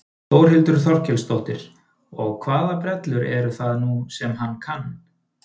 Þórhildur Þorkelsdóttir: Og hvaða brellur eru það nú sem hann kann?